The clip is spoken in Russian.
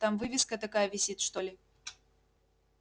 там вывеска такая висит что ли